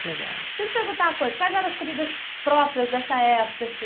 muito legal. Se eu te perguntar uma coisa, quais eram as comidas próprias dessa época, assim?